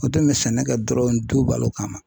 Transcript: O tun bɛ sɛnɛ kɛ dɔrɔn du balo kama.